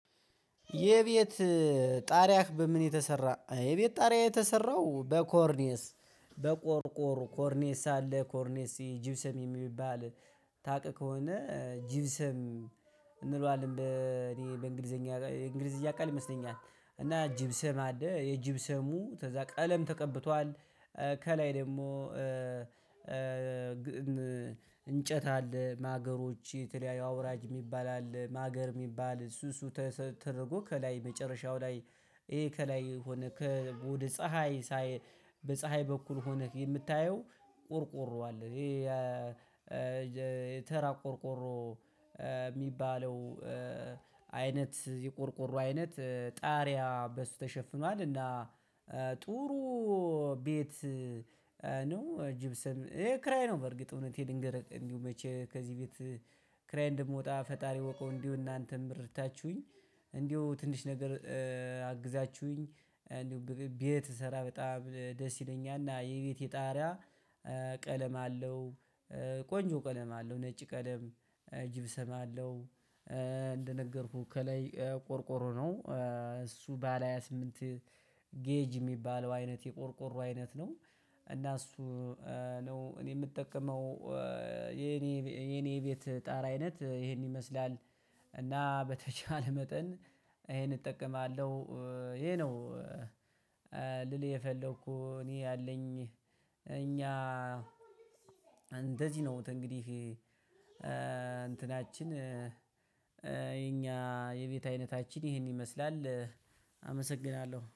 የቤት ጣሪያህ በምን የተሰራ? የቤት ጣሪያ የተሰራው በኮርኔስ በቆርቆር ኮርኔስ አለ ኮርኔስ ጅብስም የሚባል ታቅ ከሆነ ጅብስም እንለዋለን በእኔ በእንግሊዘኛ የእንግሊዝኛ ቃል ይመስለኛል። እና ጂብሰም አደህ የጂብሰሙ ተዛ ቀለም ተቀብቷል ከላይ ደግሞ እንጨት አለ ማገሮች የተለያዩ አውራጅ የሚባል አለ ማገር የሚባል እሱ እሱ ተደርጎ ከላይ መጨረሻው ላይ ይሄ ከላይ ሆነ ከቡድን ፀሀይ ሳይ በፀሀይ በኩል ሆነህ የምታየው ቆርቆሮ አለ ይሄ የተራ ቆርቆሮ የሚባለው አይነት የቆርቆሮ አይነት ጣሪያ በሱ ተሸፍኗል። እና ጥሩ ቤት ነው እጅብስም ይሄ ክራይ ነው በርግጥ እውነት የክርይ ነው እንዲሁ መቼ ከዚህ ቤት ክራይ እንደምወጣ ፈጣሪ ወቀው እንዲሁ እናንተም ብር እርታችሁኝ እንዲሁ ትንሽ ነገር አግዛችሁኝ እንዲሁ ቤት እሰራ በጣም ደስ ይለኛል እና የቤቴ ጣሪያ ቀለም አለው ቆንጆ ቀለም አለው ነጭ ቀለም ጅብሰም አለው። እንደነገርኩህ ከላይ ቆርቆሮ ነው እሱ ባለ ሃያ ስምንት ጌጅ የሚባለው አይነት የቆርቆሮ አይነት ነው እና እሱ ነው እኔ የምጠቀመው የኔ የኔ ቤት ጣራ አይነት ይሄን ይመስላል። እና በተቻለ መጠን ይሄን እጠቀማለሁ ይሄ ነው ልል የፈለኩት እኔ ያለኝ እኛ እንደዚህ ነው እንግዲህ እንትናችን የኛ የቤት አይነታችን ይህን ይመስላል አመሰግናለሁ።